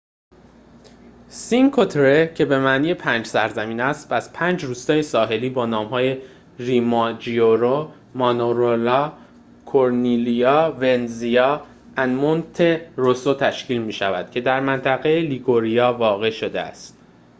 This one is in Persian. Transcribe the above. سینکو تره که به معنی پنج سرزمین است از پنج روستای ساحلی با نام‌های ریوماجیوره مانارولا کورنیلیا ورنزا و مونته‌روسو تشکیل می‌شود که در منطقه لیگوریا واقع شده است